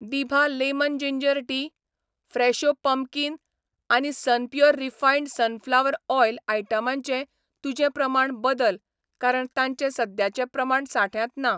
दिभा lemon ginger tea, Fresho pumpkin आनी Sunpure refined sunflower oil आयटमांचें तुजें प्रमाण बदल कारण तांचें सद्याचे प्रमाण सांठ्यांत ना.